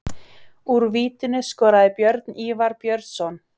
Úr vítinu skoraði Björn Ívar Björnsson.